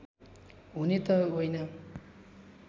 हुने त होइन